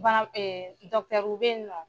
Bana w be ye nɔ